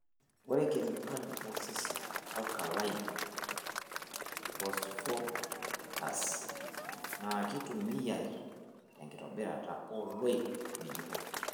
Ore kemikali osesen e Alkaline phosphatase naa keitumiyai tenkitobirata ooloik ng'ejuko.